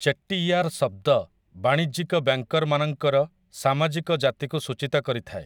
ଚେଟ୍ଟିୟାର' ଶବ୍ଦ ବାଣିଜ୍ୟିକ ବ୍ୟାଙ୍କରମାନଙ୍କର ସାମାଜିକ ଜାତିକୁ ସୂଚୀତ କରିଥାଏ ।